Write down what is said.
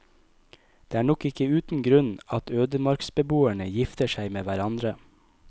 Det er nok ikke uten grunn at ødemarksbeboerne gifter seg med hverandre.